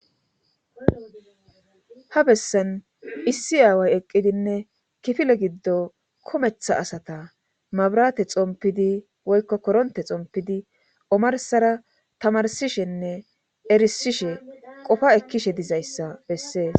ha bessan issi aaway eqqidinne kifile giddo kometha asata mabrate xompidi woykko koronte xompidi omarsara tamarsishenne erisishe qofa ekkishe dizayssa bessees